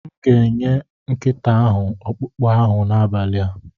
M ga-enye nkịta ahụ ọkpụkpụ ahụ n'abalị a.